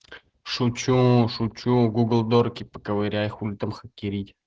шучу шучу гугл дорки поковырять хули там хакерить